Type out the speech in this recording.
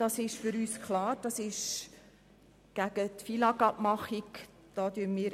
Das ist für uns klar, das ist gegen die Abmachung gemäss